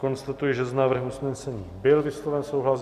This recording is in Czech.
Konstatuji, že s návrhem usnesení byl vysloven souhlas.